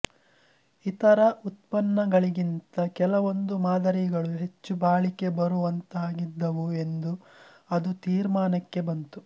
ಇತರ ಉತ್ಪನ್ನಗಳಿಗಿಂತ ಕೆಲವೊಂದು ಮಾದರಿಗಳು ಹೆಚ್ಚು ಬಾಳಿಕೆ ಬರುವಂಥವಾಗಿದ್ದವು ಎಂದು ಅದು ತೀರ್ಮಾನಕ್ಕೆ ಬಂತು